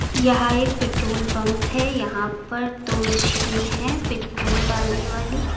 यह एक petrol pump है यहां पर दो मशीन हैं पेट्रोल डालने वाली।